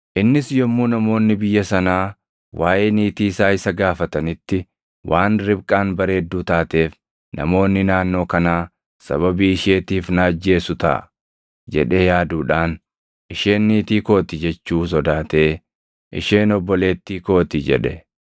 Innis yommuu namoonni biyya sanaa waaʼee niitii isaa isa gaafatanitti waan Ribqaan bareedduu taateef, “Namoonni naannoo kanaa sababii isheetiif na ajjeesu taʼa” jedhee yaaduudhaan, “Isheen niitii koo ti” jechuu sodaatee, “Isheen obboleettii koo ti” jedhe.